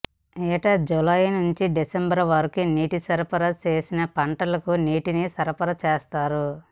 ఏటా జూలై నుంచి డిసెంబర్ వరకు నీటిని సరఫరా చేసి పంటలకు నీటిని సరఫరా చేస్తారు